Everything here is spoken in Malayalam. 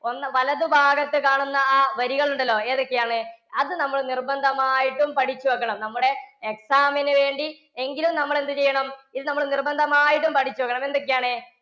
ഒന്ന് വലതുഭാഗത്ത് കാണുന്ന ആ വരികൾ ഉണ്ടല്ലോ. ഏതൊക്കെയാണ്? അത് നമ്മൾ നിർബന്ധമായിട്ടും പഠിച്ചു വയ്ക്കണം. നമ്മുടെ exam ന് വേണ്ടി എങ്കിലും നമ്മൾ എന്ത് ചെയ്യണം ഇത് നമ്മൾ നിർബന്ധമായിട്ടും പഠിച്ചു വയ്ക്കണം. എന്തൊക്കെയാണ്?